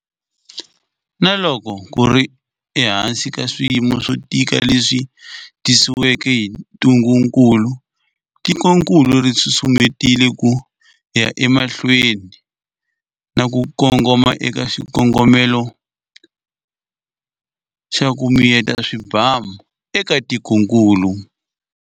Na loko ku ri ehansi ka swiyimo swo tika leswi tisiweke hi ntungukulu, tikokulu ri susumetile ku ya emahlweni na ku kongoma eka xikongomelo xa ku miyeta swibamu eka tikokulu.